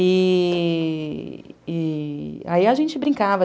E... e... e aí a gente brincava.